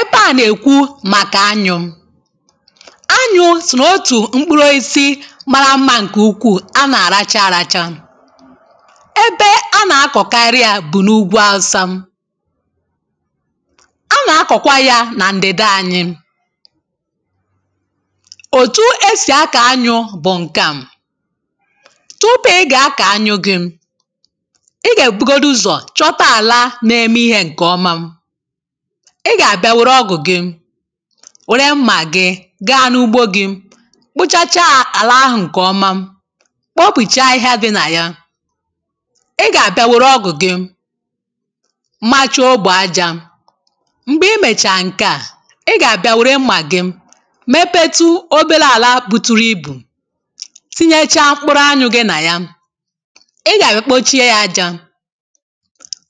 Ebe a nà-èkwu màkà anyụ:̇ Anyụ̇ so n’otù mkpụrụ osisi mara mma nkè ukwuù. A nà-àracha àracha. Ebe a nà-akọ̀kari ya bụ̀ n’ụgwọ awụsa. A nà-akọ̀kwa ya nà ǹdịdị anyị. òtù esì akà anyụ̇ bụ̀ ǹkà. Tupu ị gà akà anyụ gị, ị gà èbugodu ụzọ̀ chọta àla na-eme ihe ǹkè ọma, ị gà-àbịa wère ọgụ̀ gị, wère mmà gị, gaa n’ugbo gị,̇ kpochachaà àlà ahụ̀ ǹkè ọma. Kpọpùchaa ahịhịa dị nà ya. ị gà-àbịa wère ọgụ̀ gị machuo ogbȯ ajȧ. Mgbè i mèchààrà ǹkeà, ị gà-àbịa wère mmà gị mepetu òbèlè àla buturu ibù, tinyechaa mkpụrụ anyụ̇ gị nà ya, ị gà-àbịa kpochie yȧ ajȧ,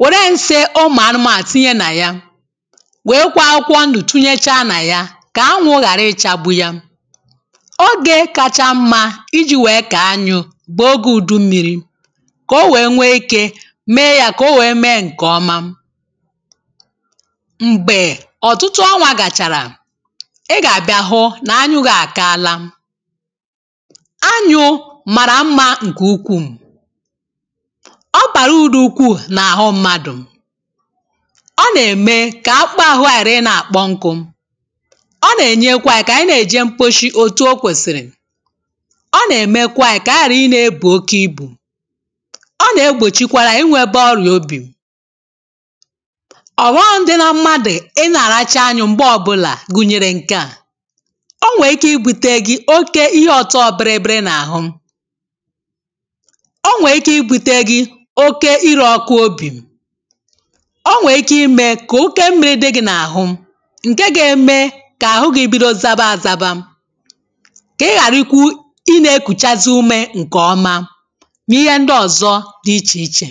were nsị ụmụ anụmȧnụ tìnyè nà yà, nwèrè kwa akwụkwọ ndụ tinyecha nà ya kà anwụ ghàra ịchagbu ya. Ogė kacha mmȧ iji̇ wèe kà anyụ bụ̀ ogė ùdummiri, kà o wèe nwee ikė mee ya kà o wèe mee ǹkè ọma. Mgbè ọ̀tụtụ ọnwȧ gàchàrà, ị gà àbịa hụ nà anyụ gị àkala. Anyụ màrà mmȧ ǹkè ukwuù. Ọ bàrà uru̇dụ̀ ukwuù nà àhụ mmadụ̀. Ọ na-eme kà a kpụ ahụ̇ ghàrà ị nà-àkpọ nku, ọ nà-ènyekwa anyị kà ànyị nà-èje mkposhi òtù o kwèsìrì, ọ nà-èmekwa anyị kà ànyị ghàra ị nȧ-ėbù oke ibù. Ọ nà-egbòchikwara anyị inwėbe ọrịà obì. ọ̀ghọm dị na mmadụ̀ ị nà-àrachi anyụ m̀gbe ọbụlà gụ̀nyèrè ǹkeà; o nwèrè ike ibu̇tėre gi oke ihe ọ̀tọ biribiri n’àhụ, o nwèrè ike ibu̇tėre gi oke irė ọkụ obì, o nwèrè ike ịme ka-oke mmirị di gị n'àhụ, ǹke ga-eme kà àhụ gi bido zaba àzaba, kà ị ghàra ikwu ị nà-ekùchazị ume ǹkè ọma nà ihe ndị ọ̀zọ dị ichè ichè.